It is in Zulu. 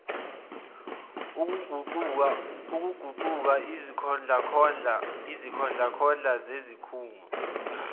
okuguquka izikhondlakhondla zezikhungo